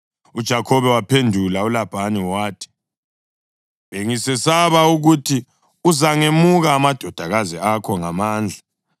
UJakhobe wamphendula uLabhani wathi, “Bengisesaba ukuthi uzangemuka amadodakazi akho ngamandla.